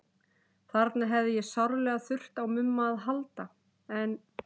Þarna hefði ég sárlega þurft á Mumma að halda, en